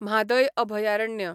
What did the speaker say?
म्हादय अभयारण्य